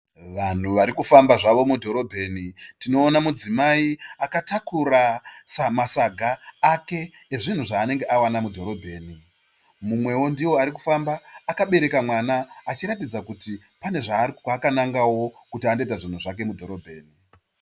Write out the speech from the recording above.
Vanhu vari kufamba zvavo mudhorobheni. Tinoona mudzimai akatakura masaga ake ezvinhu zvaanenge awana mudhorobheni. Mumwewo ndiye arikufamba akabereka mwana achiratidza kuti pane kwaakanangawo kuti andoita zvinhu zvake mudhorobheni.